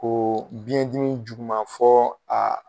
Ko biyɛndimi juguman fo a